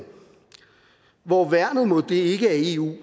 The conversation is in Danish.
hvor værnet mod det ikke er eu